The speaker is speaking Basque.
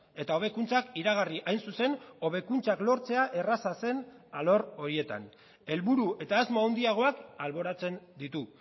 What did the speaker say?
eta hobekuntzak iragarri hain zuzen hobekuntzak lortzea erraza zen alor horietan helburu eta asmo handiagoak alboratzen ditu